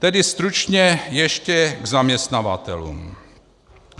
Tedy stručně ještě k zaměstnavatelům.